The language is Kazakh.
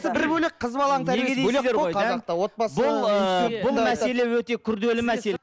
бұл мәселе өте күрделі мәселе